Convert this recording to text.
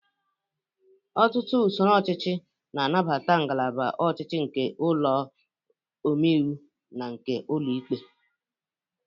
Ọtụtụ usoro ọchịchị na-anabata ngalaba ọchịchị nke ụlọ ome iwu na nke ụlọ ikpe.